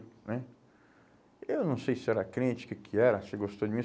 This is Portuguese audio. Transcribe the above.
Né? Eu não sei se ela era crente, o que que era, se gostou de mim.